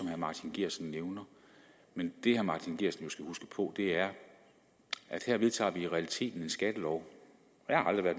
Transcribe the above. herre martin geertsen men det herre martin geertsen jo skal huske på er at her vedtager vi i realiteten en skattelov